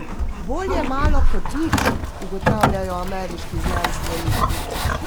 Bolje malo kot nič, ugotavljajo ameriški znanstveniki.